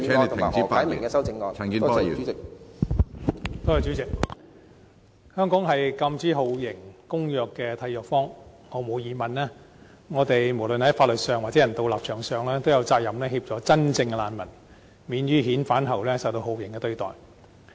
香港是《禁止酷刑和其他殘忍、不人道或有辱人格的待遇或處罰公約》的締約方，毫無疑問，我們無論在法律上或人道立場上，都有責任協助真正的難民免於遣返後受到酷刑對待。